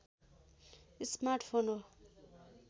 smart phone हो